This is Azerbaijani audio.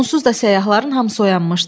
Onsuz da səyyahların hamısı oyanmışdı.